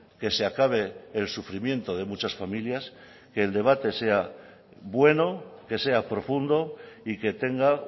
que se acabe el sufrimiento de muchas familias que el debate sea bueno que sea profundo y que tenga